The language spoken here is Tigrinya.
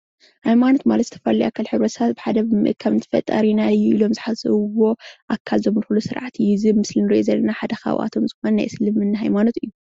ሃይማኖት ማለት ዝተፈላለዩ ኣካላት ሕብረሰብ ብሓደ ብምእካብ ከም ፈጣሪና እዩ ኢሎ ስሓስብዎ ኣክል ዘምልክሉ ስርዓት እዩ፡፡ እዚ ኣብ ምስሊ እንሪኦ ዘለና ሓደ ካብኣቶም ናይ እስልመና ሃይማኖት እዩ፡፡